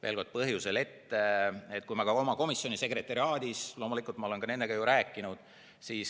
Veel kord, ma ka oma komisjoni sekretariaadis olen loomulikult nendega ju rääkinud.